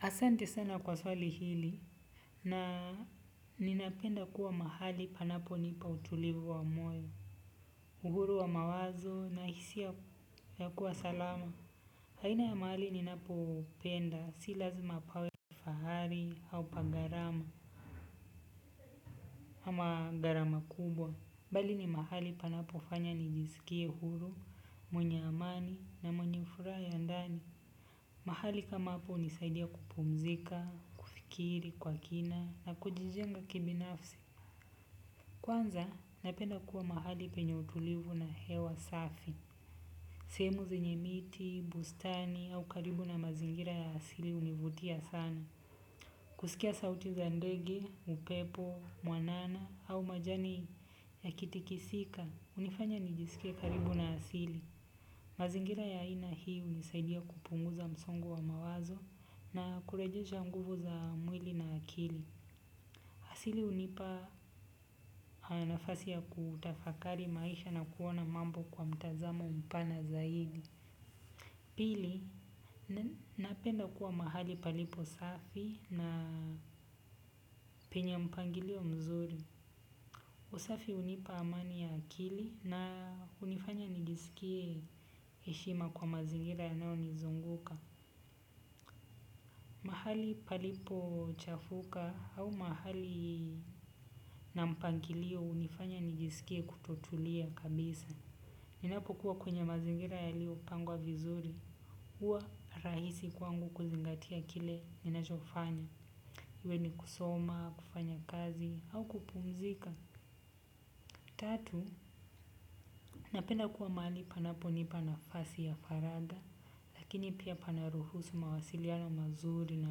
Asante sana kwa swali hili na ninapenda kuwa mahali panaponipa utulivu wa moyo, uhuru wa mawazo na hisia ya kuwa salama aina ya mahali ninapopenda si lazima pawe fahari au pa gharama ama gharama kubwa. Bali ni mahali panapofanya nijisikie huru, mwenye amani na mwenye furaha ya ndani. Mahali kama hapo hunisaidia kupumzika, kufikiri kwa kina na kujijenga kibafsi. Kwanza, napenda kuwa mahali penye utulivu na hewa safi. Sehemu zinye miti, bustani au karibu na mazingira ya asili hunivutia sana. Kusikia sauti za ndege, upepo mwanana au majani yakitikisika, hunifanya nijisikie karibu na asili. Mazingira ya ina hii hunisaidia kupunguza msongo wa mawazo na kurejesha nguvu za mwili na akili. Asili hunipa nafasi ya kutafakari maisha na kuona mambo kwa mtazamo mpana zaidi. Pili, napenda kuwa mahali palipo safi na penye mpangilio mzuri. Usafi hunipa amani ya akili na hunifanya nijiskie heshima kwa mazingira yanayonizunguka. Mahali palipo chafuka au mahali na mpangilio hunifanya nijisikie kutotulia kabisa. Ninapo kuwa kwenye mazingira yalio pangwa vizuri. Huwa rahisi kwangu kuzingatia kile ninachofanya. Iwe ni kusoma, kufanya kazi au kupumzika. Tatu, napenda kuwa mahali panapo nipa nafasi ya faraga. Lakini pia pana ruhusu mawasiliano mazuri na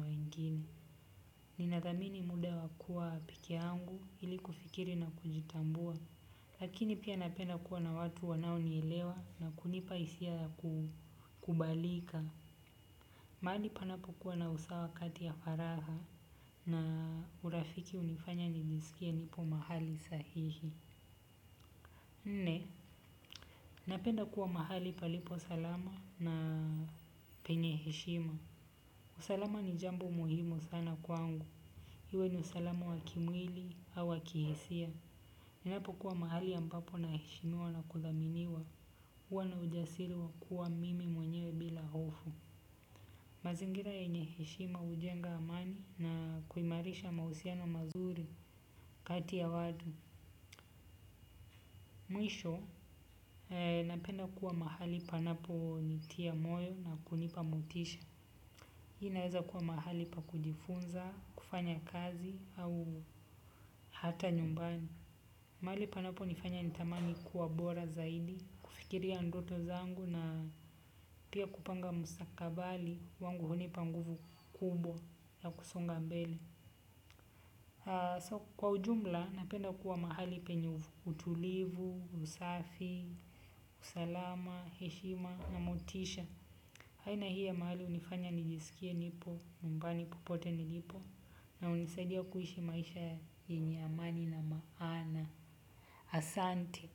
wengine. Ninathamini muda wa kuwa peke yangu ili kufikiri na kujitambua lakini pia napenda kuwa na watu wanaonielewa na kunipa hisia ya kukubalika. Mahali panapokua na usawa kati ya faragha na urafiki hunifanya nijisikie sahihi. Nne, napenda kuwa mahali palipo salama na penye heshima. Usalama ni jambo muhimu sana kwangu. Iwe ni usalama wa kimwili au wa kihisia. Ninapokuwa mahali ambapo na heshimiwa na kuthaminiwa huwa na ujasiri wa kuwa mimi mwenyewe bila hofu. Mazingira yenye heshima hujenga amani na kuimarisha mahusiano mazuri kati ya watu. Mwisho napenda kuwa mahali panapo nitia moyo na kunipa motisha. Inaweza kuwa mahali pa kujifunza, kufanya kazi au hata nyumbani. Mahali panapo nifanya nitamani kuwa bora zaidi, kufikiria ndoto zangu na pia kupanga musakabali wangu hunipa nguvu kubwa ya kusonga mbele. Kwa ujumla napenda kuwa mahali penye utulivu, usafi, usalama, heshima na motisha. Aina hii ya mahali hunifanya nijisikie nipo, nyumbani popote nilipo na hunisaidia kuishi maisha yenyame amani na maana. Asante.